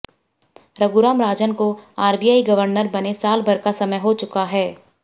रघुराम राजन को RBI governor बने साल भर का समय हो चुका है